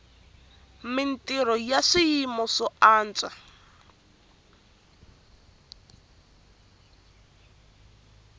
mintrho ya swiyima swo antswa